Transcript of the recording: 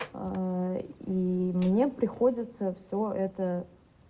а и мне приходится всё это